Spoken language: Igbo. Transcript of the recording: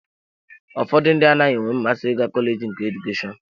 Ụfọdụ ndị anaghị enwe mmasị ịga kọleji nke Edukeshọn